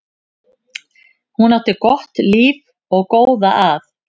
Hún átti gott líf og góða að.